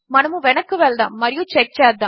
మనమువెనక్కువెళ్దాముమరియుచెక్చేద్దాము